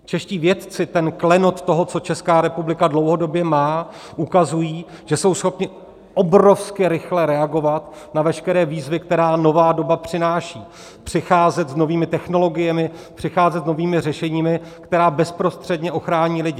Čeští vědci, ten klenot toho, co Česká republika dlouhodobě má, ukazují, že jsou schopni obrovsky rychle reagovat na veškeré výzvy, které nová doba přináší, přicházet s novými technologiemi, přicházet s novými řešeními, která bezprostředně ochrání lidi.